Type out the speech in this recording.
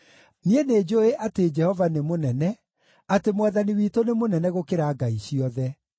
Niĩ nĩnjũũĩ atĩ Jehova nĩ mũnene, atĩ Mwathani witũ nĩ mũnene gũkĩra ngai ciothe.